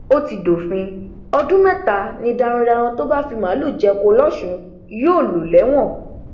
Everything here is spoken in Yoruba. ó ti dófin ọdún mẹta ni darandaran tó bá fi màálùú jẹko lọsùn yóò lò lẹwọn